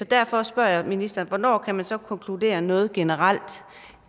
derfor spørger jeg ministeren hvornår kan man så konkludere noget generelt